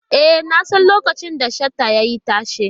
E, nasan lokacin da Shata ya yi tashe.